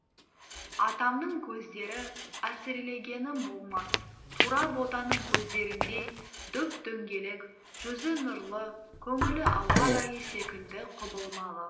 атамның көздері әсірелегенім болмас тура ботаның көздеріндей дөп дөңгелек жүзі нұрлы көңілі ауа райы секілді құбылмалы